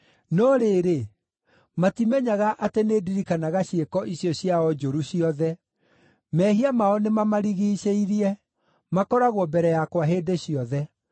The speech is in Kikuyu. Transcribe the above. no rĩrĩ, matimenyaga atĩ nĩndirikanaga ciĩko icio ciao njũru ciothe. Mehia mao nĩmamarigiicĩirie; makoragwo mbere yakwa hĩndĩ ciothe.